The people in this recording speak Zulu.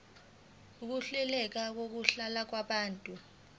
ukuhleleka kokuhlala kwabantu